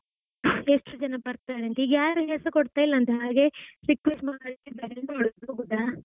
ಎಷ್ಟು ಜನ ಬರ್ತಾರೆಂತ ಈಗ ಯಾರು ಹೆಸರು ಕೊಡ್ತಾ ಇಲ್ಲಂತೆ ಹಾಗೆ request ಮಾಡ್ತಾ ಇದ್ದಾರೆ ಎಂತ ಮಾಡುದು ಹೋಗುದ?